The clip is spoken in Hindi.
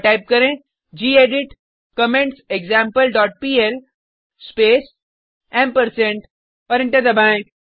और टाइप करें gedit comments example dot PL space और एंटर दबाएँ